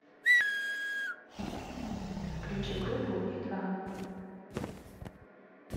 включи группу и два